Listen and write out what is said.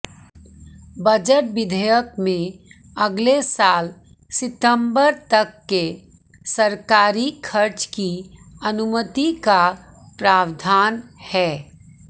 budget विधेयक में अगले साल सितंबर तक के सरकारी खर्च की अनुमति का प्रावधान है